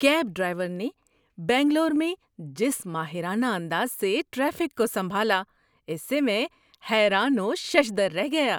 Cab driver نے بنگلور میں جس ماہرانہ انداز سے ٹریفک کو سنبھالا، اس سے میں حیران و ششدر رہ گیا۔